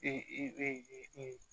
E e